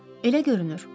Elə görünür.